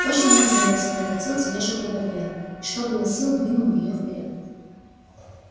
точно нацелился докатил тележку до барьера и что было сил двинул её вперёд